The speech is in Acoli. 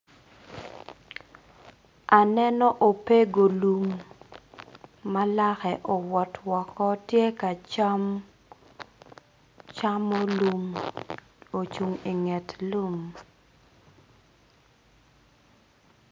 Aneno opego lum ma lake owot woko tye ka cam camo lum ocung inget lum.